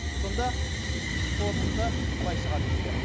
сонда қорытынды былай шығады бізде